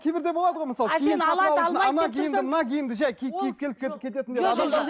кейбірде болады ғой мысалы ана киімді мына киімді жай киіп киіп келіп